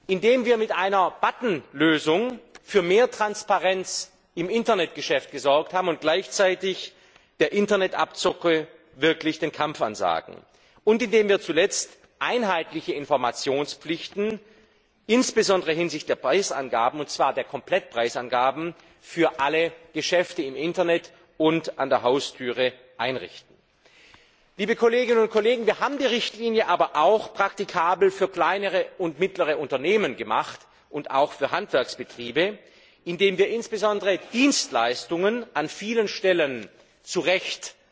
indem wir mit einer Button Lösung für mehr Transparenz im Internetgeschäft gesorgt haben und gleichzeitig der Internet Abzocke wirklich den Kampf ansagen und indem wir schließlich einheitliche Informationspflichten, insbesondere hinsichtlich der Preisangaben, und zwar der Komplettpreisangaben für alle Geschäfte im Internet und an der Haustür, einrichten. Wir haben die Richtlinie aber auch praktikabel für kleine und mittlere Unternehmen und auch für Handwerksbetriebe gemacht, indem wir insbesondere Dienstleistungen an vielen Stellen zu Recht